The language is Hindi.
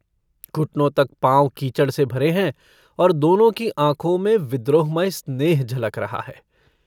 घुटनों तक पाँव कीचड़ से भरे हैं और दोनों की आँखों में विद्रोहमय स्नेह झलक रहा है।